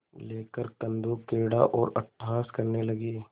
लेकर कंदुकक्रीड़ा और अट्टहास करने लगी